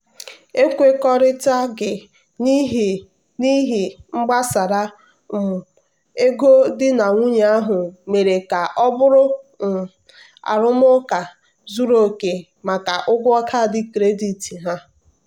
"ekwekọrịtaghị n'ihe n'ihe gbasara um ego di na nwunye ahụ mere ka ọ bụrụ um arụmụka zuru oke maka ụgwọ kaadị kredit ha."